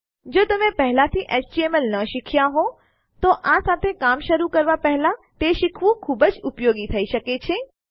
જો તમે પહેલાથી એચટીએમએલ ન શીખ્યા હોવ તો આ સાથે કામ શરુ કરવા પેહલા તે શીખવું ખૂબ જ ઉપયોગી થઈ શકે છે